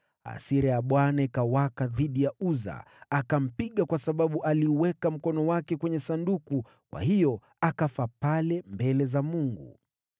Hasira ya Bwana ikawaka dhidi ya Uza, akampiga kwa sababu aliuweka mkono wake kwenye Sanduku. Kwa hiyo akafa pale mbele za Mungu.